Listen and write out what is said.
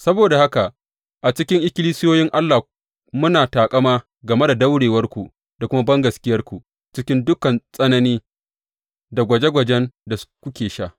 Saboda haka, a cikin ikkilisiyoyin Allah muna taƙama game da daurewarku da kuma bangaskiyarku cikin dukan tsanani da gwaje gwajen da kuke sha.